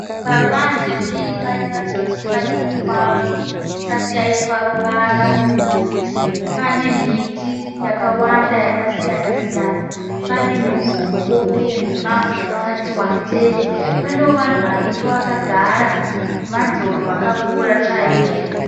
Paruvanze peimba inoratidza kuri imba diki kwazvo isati yaiswa ruvara. Pane miti yakawanda yakasiyana siyana. Pane muvhoko uye mumango yakati wandei. Panewo vanhu varipo vakagara, ruvanze urwu rwakakura chaizvo.